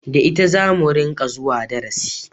Da ita zamu ringa zuwa darasi